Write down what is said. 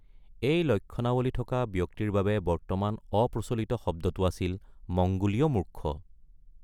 এই লক্ষণাৱলী থকা ব্যক্তিৰ বাবে বৰ্তমাণ অপ্ৰচলিত শব্দটো আছিল মংগোলীয় মূৰ্খ।